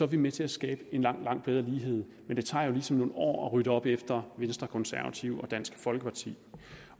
vi med til at skabe en langt langt bedre lighed men det tager jo ligesom nogle år at rydde op efter venstre konservative og dansk folkeparti